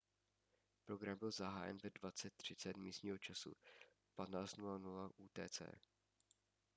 program byl zahájen ve 20:30 místního času 15:00 utc